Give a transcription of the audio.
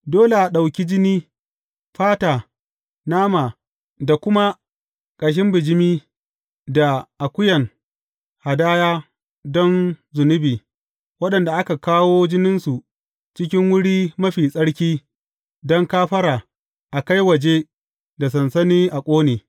Dole a ɗauki jini, fata, nama da kuma ƙashin bijimi da akuyan hadaya don zunubi, waɗanda aka kawo jininsu cikin Wuri Mafi Tsarki don kafara, a kai waje da sansani a ƙone.